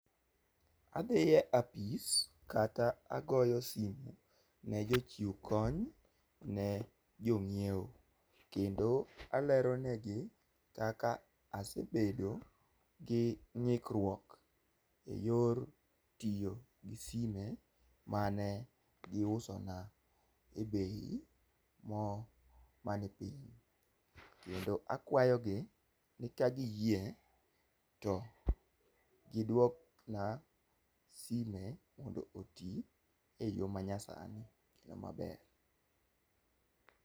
Adhi e apis kata agoyo simu ne jochiw kony ne jong'iewo kendo alero ne gi kaka asebedo gi ng'ikruok e yor tiyo gi sime mane giuso na e bei mo mani piny, kendo akwayo gi ni ka giyie to gidwakna sime mondo otii e yoo manyasani kendo maber.